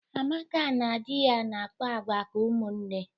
Amaka na dị ya na-akpa agwa ka ụmụnne.